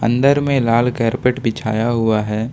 अंदर में लाल कारपेट बिछाया हुआ है।